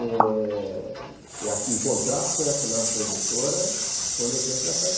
É... o contrato foi assinado com a editora quando eu tinha deze anos.